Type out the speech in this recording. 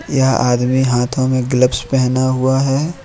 यह आदमी हाथों में ग्लव्स पहना हुआ है।